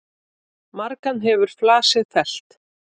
Margan hefur flasið fellt.